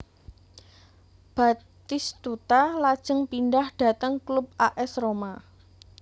Batistuta lajeng pindah dhateng klub A S Roma